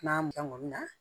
N'a mɔnna